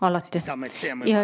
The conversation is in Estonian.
Alati!